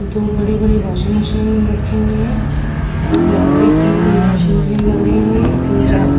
दो बड़ी-बड़ी washing machine रखी हुई हैं। लॉन्ड्री की हुई वाशिंग मशीन लग रही हैं ये तीन चार --